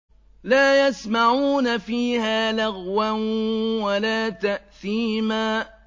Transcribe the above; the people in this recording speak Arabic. لَا يَسْمَعُونَ فِيهَا لَغْوًا وَلَا تَأْثِيمًا